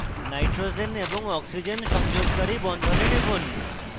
nitrogen এবং oxygen সংযোগকারী বন্ধনে টিপুন